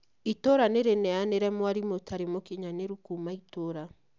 Itũra nĩ rĩneanire mwarimũ ũtarĩ mũkinyanĩru kuuma itũra